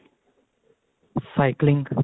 cycling